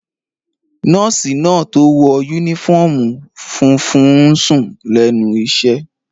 Nọ́ọ̀sì náà tó wọ yúnífọ́ọ̀mù funfun n sùn lẹ́nu iṣẹ́